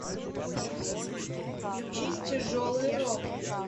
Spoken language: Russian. включить тяжелый рок